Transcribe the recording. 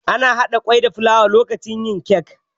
Ana haɗa kwai da fulawa lokacin yin kek.